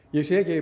ég sé